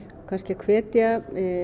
kannski að hvetja